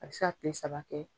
A bi se ka kile saba kɛ